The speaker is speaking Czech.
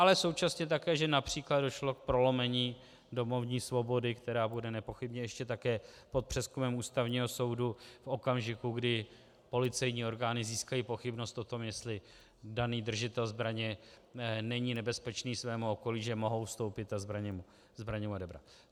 Ale současně také, že například došlo k prolomení domovní svobody, která bude nepochybně ještě také pod přezkumem ústavního soudu v okamžiku, kdy policejní orgány získají pochybnost o tom, jestli daný držitel zbraně není nebezpečný svému okolí, že mohou vstoupit a zbraně mu odebrat.